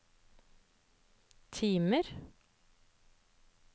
timer